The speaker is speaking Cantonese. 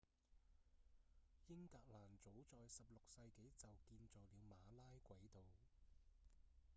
英格蘭早在十六世紀就建造了馬拉軌道